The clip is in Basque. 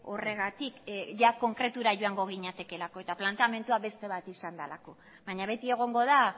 horregatik ia konkretura joango ginatekeelako eta planteamendua beste bat izan delako baina beti egongo da